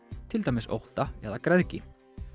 til dæmis ótta eða græðgi